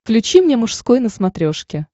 включи мне мужской на смотрешке